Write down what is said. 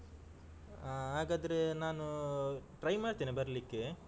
ಆ ಹಾಗಾದ್ರೆ ನಾನು try ಮಾಡ್ತೇನೆ ಬರ್ಲಿಕ್ಕೆ.